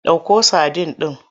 Ɗauko sadin ɗin!